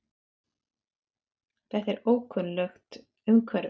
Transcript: Þetta er ókunnugt umhverfi.